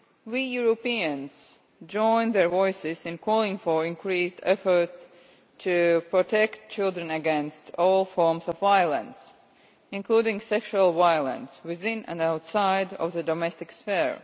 We Europeans join their voices in calling for increased efforts to protect children against all forms of violence, including sexual violence, within and outside of the domestic sphere.